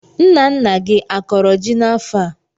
Nna nna gị a kọrọ ji n'afọ a?